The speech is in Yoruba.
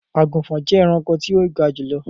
agunfọn jẹ ẹranko ti o ga julọ.